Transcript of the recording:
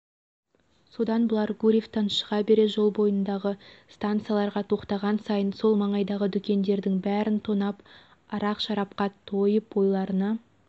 содан бұлар гурьевтен шыға бере жол бойындағы стансаларға тоқтаған сайын сол маңайдағы дүкендердің бәрін тонап арақ-шарапқа тойып ойларына